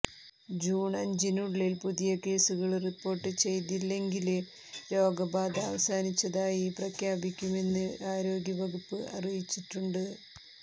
June അഞ്ചിനുള്ളില് പുതിയ കേസുകള് റിപ്പോര്ട്ട് ചെയ്തില്ലെങ്കില് രോഗബാധ അവസാനിച്ചതായി പ്രഖ്യാപിക്കുമെന്ന് ആരോഗ്യവകുപ്പ് അറിയിച്ചിട്ടുണ്ട്